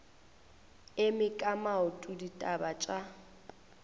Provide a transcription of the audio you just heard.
eme ka maoto ditaba tša